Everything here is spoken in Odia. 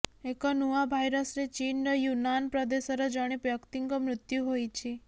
ଏକ ନୂଆ ଭାଇରସରେ ଚୀନର ୟୁନାନ୍ ପ୍ରଦେଶର ଜଣେ ବ୍ୟକ୍ତିଙ୍କ ମୃତ୍ୟୁ ହୋଇଛି